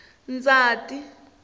ndzhati